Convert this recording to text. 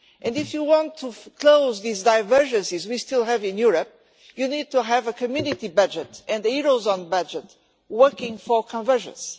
If you want to close these divergences which we still have in Europe, you need to have a community budget and a Eurozone budget working for convergence.